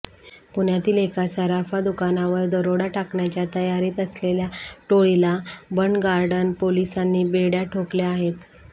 पुण्यातील एका सराफा दुकानावर दरोडा टाकण्याच्या तयारीत असलेल्या टोळीला बंडगार्डन पोलिसांनी बेड्या ठोकल्या आहेत